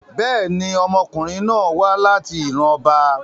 Bẹ́ẹ̀ni, ọmọkunrin náà wa lati iran ọba